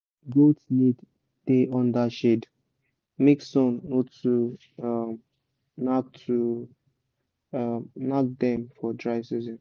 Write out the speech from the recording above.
goats need da under shade make sun no too um nak too um nak dem for dry season